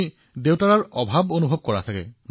আপুনিতো দেউতাক খুব মিছ কৰে ন